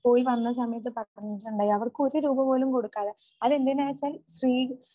പോയി വന്ന സമയത്ത് പറഞ്ഞിട്ടുണ്ടായി അവർക്ക് ഒരു രൂപ പോലും കൊടുക്കാതെ അതെന്തിനാച്ചാൽ സ്ത്രീ